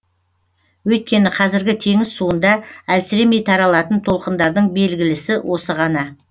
өйткені қазіргі теңіз суында әлсіремей таралатын толқындардың белгілісі осы ғана